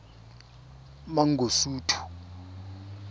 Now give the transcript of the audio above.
mangosuthu